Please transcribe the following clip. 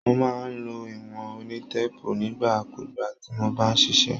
Mo máa ń lo ìwọ̀n onítéèpù nígbà kugbà tí mo bá ń ṣiṣẹ́.